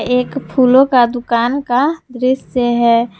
एक फूलों का दुकान का दृश्य है।